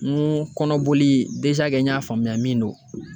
N ko kɔnɔboli n y'a faamuya min don.